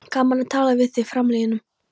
Gaman að tala við þá framliðnu